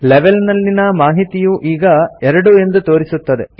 level ನಲ್ಲಿನ ಮಾಹಿತಿಯು ಈಗ 2 ಎಂದು ತೋರಿಸುತ್ತದೆ